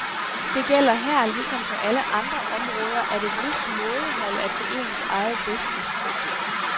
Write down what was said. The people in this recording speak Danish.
Det gælder her ligesom på alle andre områder, at et vist mådehold er til ens eget bedste.